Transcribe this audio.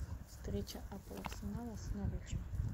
встреча апл арсенала с норвичем